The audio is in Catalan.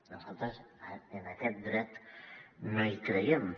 nosaltres en aquest dret no hi creiem